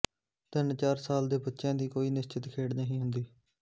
ਤਿੰਨ ਚਾਰ ਸਾਲ ਦੇ ਬੱਚਿਆਂ ਦੀ ਕੋਈ ਨਿਸਚਿਤ ਖੇਡ ਨਹੀਂ ਹੁੰਦੀ